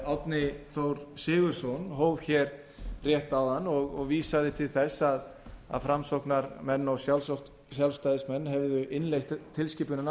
árni þór sigurðsson hóf hér rétt áðan og vísa til þess að framsóknarmenn og sjálfstæðismenn hefðu innleitt tilskipunina